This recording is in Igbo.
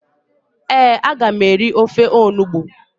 ee, a ga m eri ofe onugbu